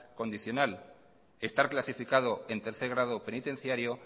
condicional estar clasificado en tercer grado penitenciario